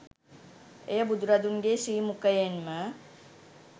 එය බුදුරදුන්ගේ ශ්‍රී මුඛයෙන්ම